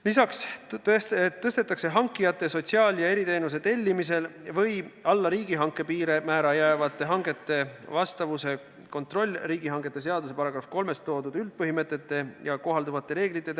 Lisaks suurendatakse hankija sotsiaal- ja eriteenuste tellimisega või allapoole riigihanke piirmäära jäävate hangete korraldamisega seotud piirmäära, millest oleneb, kas on vaja kontrollida hanke vastavust riigihangete seaduse § 3 nimetatud üldpõhimõtetele ja kohalduvatele reeglitele.